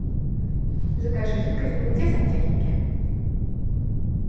закажи жидкость для мытья сантехники